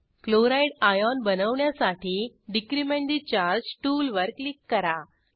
chloride ion बनवण्यासाठी decrement ठे charge टूलवर क्लिक करा